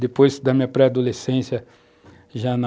Depois da minha pré-adolescência, já na...